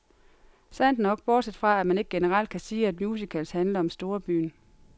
Sandt nok, bortset fra, at man ikke generelt kan sige, at musicals handler om storbyen.